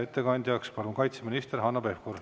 Ettekandjaks palun kaitseminister Hanno Pevkuri.